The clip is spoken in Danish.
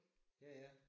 Ja ja